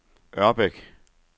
Ørbæk